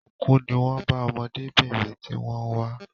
Òkú ní wón bá ọmọdébìnrin tí wón ń wá